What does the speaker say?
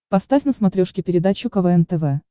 поставь на смотрешке передачу квн тв